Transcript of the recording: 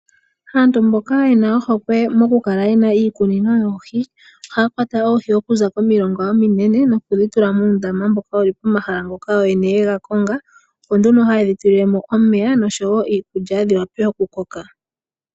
Aantu mboka yena ohokwe mokukala yena iikunino yoohi, ohaya kwata oohi okuza komilonga ominene, nokudhi tula muundama mboka wu li pomahala ngoka oyo yene yega konga, opo nduno hayedhi tulilemo omeya, noshowo iikulya, dhiwape okukoka.